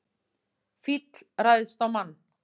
Fíll ræðst á mann